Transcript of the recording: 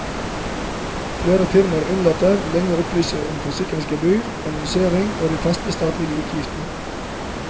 Flere firmaer unnlater lenge å opplyse om forsikringsgebyr, annonsering og de faste statlige utgiftene.